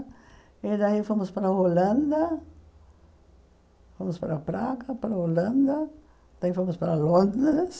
E daí fomos para a Holanda, fomos para Praga, para a Holanda, daí fomos para Londres.